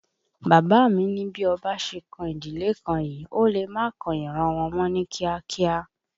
Bàbá mi ni bí ọba ṣe kan ìdílé kan yìí, ó lè má kan ìran wọn mọ́ ní kíá kíá